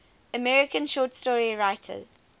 american short story writers